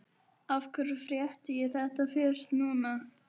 Af hverju frétti ég þetta fyrst núna?